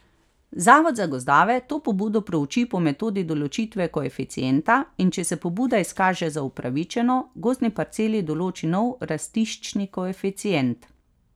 Zavod za gozdove to pobudo prouči po metodi določitve koeficienta in če se pobuda izkaže za upravičeno, gozdni parceli določi nov rastiščni koeficient.